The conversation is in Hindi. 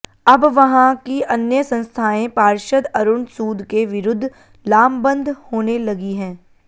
अब वहां की अन्य संस्थायें पार्षद अरुण सूद के विरुद्ध लामबंद होने लगी हैं